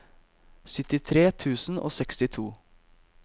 syttitre tusen og sekstito